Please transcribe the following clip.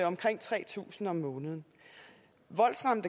omkring tre tusind kroner om måneden